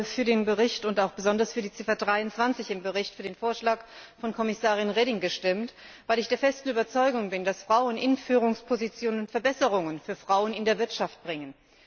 Ich habe für den Bericht, besonders für die Ziffer 23 im Bericht für den Vorschlag von Kommissarin Reding gestimmt, weil ich der festen Überzeugung bin, dass Frauen in Führungspositionen Verbesserungen für Frauen in der Wirtschaft bringen.